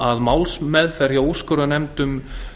að málsmeðferð hjá úrskurðarnefndum